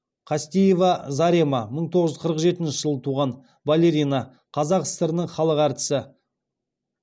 қастеева зарема мың тоғыз жүз қырық жетінші жылы туған балерина қазақ сср інің халық әртісі